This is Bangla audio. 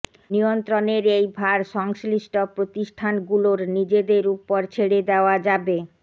নিয়ন্ত্রণের এই ভার সংশ্লিষ্ট প্রতিষ্ঠানগুলোর নিজেদের ওপর ছেড়ে দেওয়া যাবে